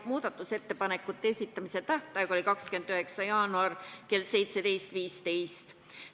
Muudatusettepanekute esitamise tähtaeg oli 29. jaanuaril kell 17.15.